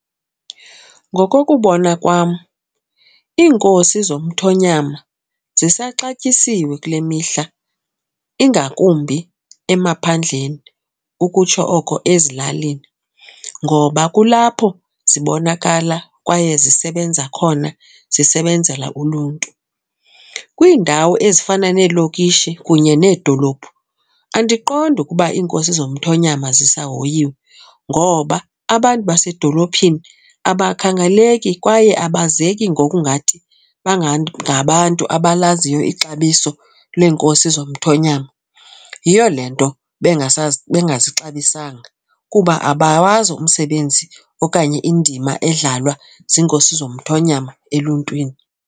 Ngokokubona kwam iinkosi zomthonyama zisaxatyisiwe kule mihla ingakumbi emaphandleni ukutsho oko ezilalini ngoba kulapho zibonakala kwaye zisebenza khona zisebenzela uluntu. Kwiindawo ezifana neelokishi kunye needolophu andiqondi ukuba iinkosi zomthonyama zisahoyiwe ngoba abantu basedolophini abakhangaleki kwaye abazeki ngokungathi bangabantu abalaziyo ixabiso lweenkosi zomthonyama. Yiyo le nto bengazixabisanga kuba abawazi umsebenzi okanye indima edlalwa ziinkosi zomthonyama eluntwini.